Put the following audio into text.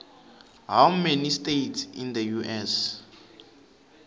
how many states in the us